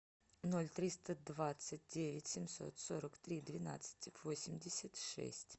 ноль триста двадцать девять семьсот сорок три двенадцать восемьдесят шесть